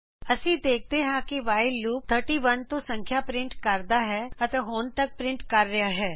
ਅਸੀ ਦੇਖਦੇ ਹਾਂ ਕੇ ਵਾਈਲ ਲੂਪ 31 ਤੋਂ ਸੰਖਿਆ ਪਰਿੰਟ ਕਰਦਾ ਹੈ ਤੇ ਹੁਣ ਤਕ ਪਰਿੰਟ ਕਰ ਰਿਹਾ ਹੈ